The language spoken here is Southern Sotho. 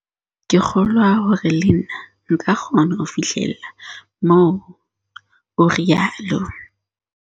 "Ke kgolwa hore le nna nka kgona ho fihlella moo," o rialo.